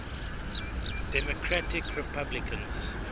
democratic republicans